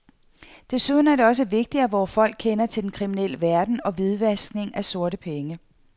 Desuden er det også vigtigt, at vore folk kender til den kriminelle verden og hvidvaskning af sorte penge.